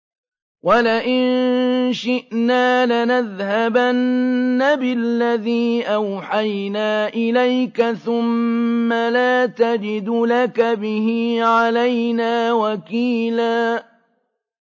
وَلَئِن شِئْنَا لَنَذْهَبَنَّ بِالَّذِي أَوْحَيْنَا إِلَيْكَ ثُمَّ لَا تَجِدُ لَكَ بِهِ عَلَيْنَا وَكِيلًا